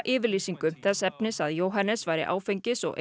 yfirlýsingu þess efnis að Jóhannes væri áfengis og